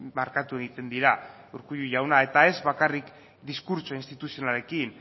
markatu egiten dira urkullu jauna eta ez bakarrik diskurtso instituzionalekin